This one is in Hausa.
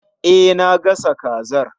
E, na gasa kazar